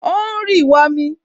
O ń rì wọmi